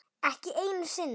Ekki einu sinni